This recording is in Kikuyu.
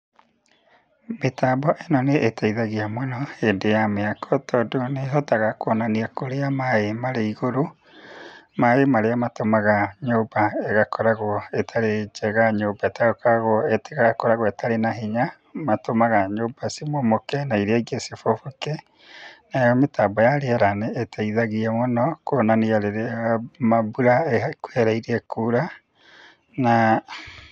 Mĩtambo ĩno nĩĩteithagia mũno, hĩndĩ ya mĩako tondũ nĩhotaga kuonania kũrĩa maĩ marĩ igũrũ, maĩ marĩa matũmaga nyũmba igakoragũo ĩtarĩ njega nyũmba ĩtakoragũo, ĩtakoragũo ĩtarĩ na hinya, matũmaga nyũmba cimomoke na iria ingĩ ciboboke, nayo mĩtambo ya rĩera nĩĩteithagia mũno, kuonania rĩrĩa ma mbura ĩha, ĩkuhĩrĩirie kura, na.